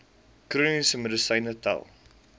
chroniese medisyne tel